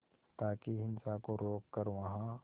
ताकि हिंसा को रोक कर वहां